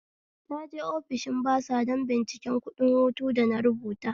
Naje ofishin basa don bincikan kuɗin hutu da na rubuta